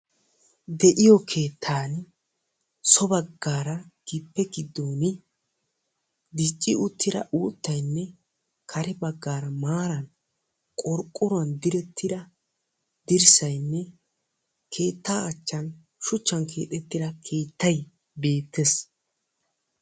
De'iyo keettaan so baggaara gibbe giddooni dicci uttira uuttayinne kare baggaara maara qorqoruwan direttira dirssayinne keettaa achchan shuchchan keexettira keettay beettes.